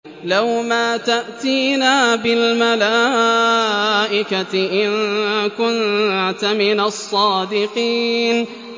لَّوْ مَا تَأْتِينَا بِالْمَلَائِكَةِ إِن كُنتَ مِنَ الصَّادِقِينَ